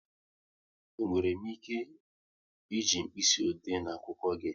E nwere m ike e ji mkpịsị ode na akwụkwọ gị?